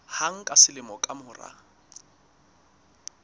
hang ka selemo ka mora